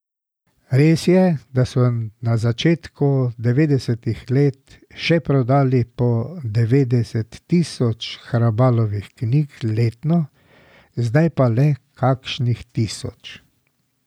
Res je, da so na začetku devetdesetih let še prodali do devetdeset tisoč Hrabalovih knjig letno, zdaj pa le kakšnih tisoč.